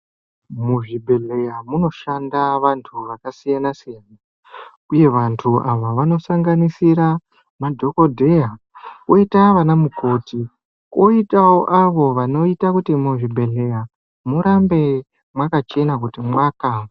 Muzvibhedhleya munoshanda vantu vakasiyana siyana. Uye vantu ava vanosanganisira, madhokodheya , koyita vanamukoti, koyita avo vanoyita kuti muzvibhedhleya murambe mwakachena kuti mwaka.